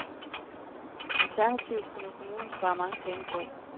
Alternativt kunne kommunen spare mange penge på.